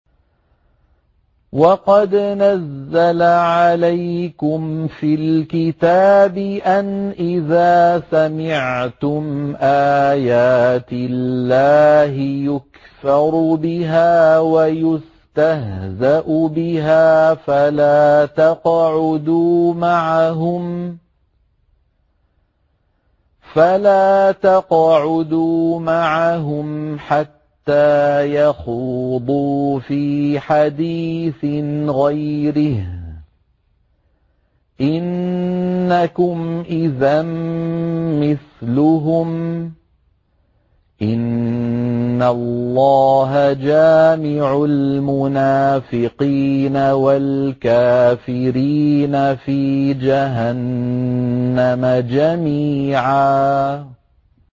وَقَدْ نَزَّلَ عَلَيْكُمْ فِي الْكِتَابِ أَنْ إِذَا سَمِعْتُمْ آيَاتِ اللَّهِ يُكْفَرُ بِهَا وَيُسْتَهْزَأُ بِهَا فَلَا تَقْعُدُوا مَعَهُمْ حَتَّىٰ يَخُوضُوا فِي حَدِيثٍ غَيْرِهِ ۚ إِنَّكُمْ إِذًا مِّثْلُهُمْ ۗ إِنَّ اللَّهَ جَامِعُ الْمُنَافِقِينَ وَالْكَافِرِينَ فِي جَهَنَّمَ جَمِيعًا